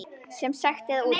Sem sekt eða úttekt?